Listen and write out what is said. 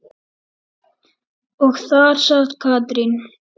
Og þar sat Katrín.